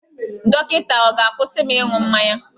Dọkịta ọ̀ ga-akwụsị m ịṅụ mmanya?